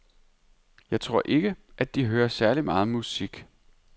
Jeg tror ikke, at de hører særlig meget musik.